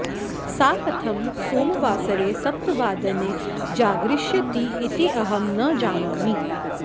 सा कथं सोमवासरे सप्तवादने जागरिष्यति इति अहं न जानामि